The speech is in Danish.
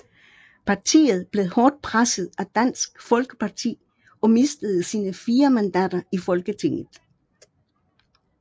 Partiet blev hårdt presset af Dansk Folkeparti og mistede sine fire mandater i Folketinget